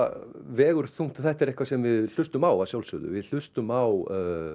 vegur þungt og þetta er eitthvað sem við hlustum á að sjálfsögðu við hlustum á